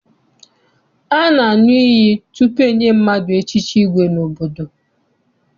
A na-aṅụ iyi tutu enye mmadụ echichi igwe n'obodo.